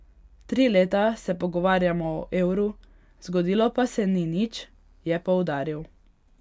Tri leta se pogovarjamo o evru, zgodilo pa se ni nič, je poudaril.